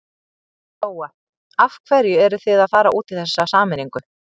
Lóa: Af hverju eruð þið að fara út í þessa sameiningu?